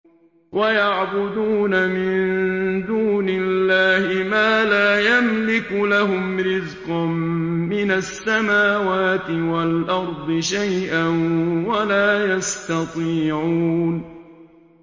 وَيَعْبُدُونَ مِن دُونِ اللَّهِ مَا لَا يَمْلِكُ لَهُمْ رِزْقًا مِّنَ السَّمَاوَاتِ وَالْأَرْضِ شَيْئًا وَلَا يَسْتَطِيعُونَ